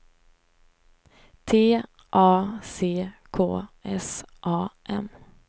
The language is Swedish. T A C K S A M